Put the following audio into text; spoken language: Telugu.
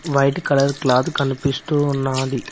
వైట్ కలర్ క్లాతు కనిపిస్తూ ఉన్నాది.